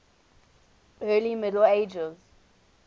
early middle ages